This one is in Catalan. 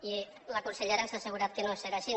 i la consellera ens ha assegurat que no serà així